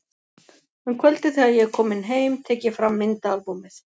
Um kvöldið þegar ég er kominn heim tek ég fram myndaalbúmið.